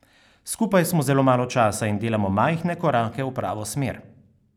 Skupaj smo zelo malo časa in delamo majhne korake v pravo smer.